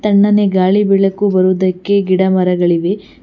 ತಣ್ಣನೆ ಗಾಳಿ ಬೆಳಕು ಬರುವುದಕ್ಕೆ ಗಿಡಮರಗಳಿವೆ.